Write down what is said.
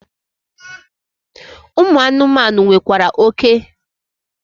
Ụmụ anụmanụ nwekwara oke.